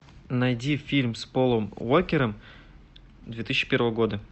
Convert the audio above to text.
найди фильм с полом уокером две тысячи первого года